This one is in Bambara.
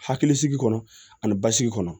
Hakilisigi kɔnɔ ani basigi kɔnɔ